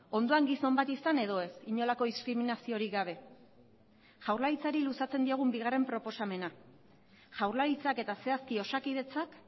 ondoan gizon bat izan edo ez inolako diskriminaziorik gabe jaurlaritzari luzatzen diogun bigarren proposamena jaurlaritzak eta zehazki osakidetzak